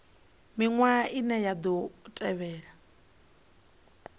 miṅwaha ine ya ḓo tevhela